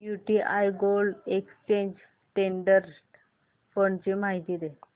UTI gold exchange traded fund ची माहिती दे